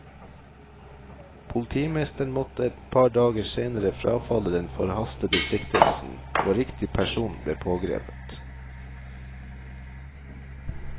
Politimesteren måtte et par dager senere frafalle den forhastede siktelsen, og riktig person blepågrepet.